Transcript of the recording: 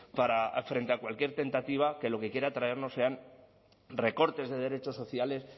frente a cualquier tentativa que lo que quiera traernos sean recortes de derechos sociales